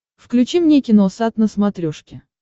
включи мне киносат на смотрешке